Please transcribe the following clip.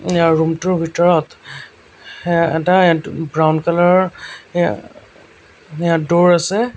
ইয়াৰ room টোৰ ভিতৰত হে এটা হে ব্ৰাউন কালাৰ ৰ হে হেয়া ড'ৰ আছে।